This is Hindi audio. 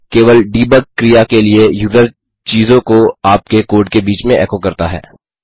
केवल डीबग क्रिया के लिए यूजर चीज़ों को आपके कोड के बीच में एको करता है